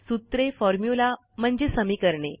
सूत्रे फॉर्म्युला म्हणजे समीकरणे